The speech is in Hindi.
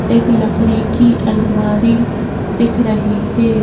एक लकड़ी की अलमारी दिख रही है।